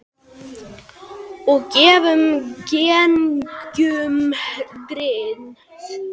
Og gefum engum grið.